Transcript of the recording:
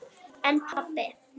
En pabbi?